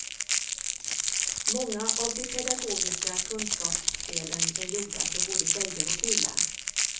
Många av de pedagogisk kunskapsspelen är gjorda för både tjejer och killar.